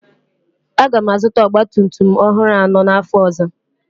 Aga m azụta ọgba tum tum ọhụrụ anọ n'afọ ọzọ.